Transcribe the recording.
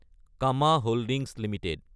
Cama holdings Ltd